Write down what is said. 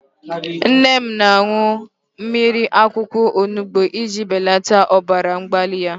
Nne m na-aṅụ mmiri akwụkwọ onubu iji belata ọbara mgbali ya.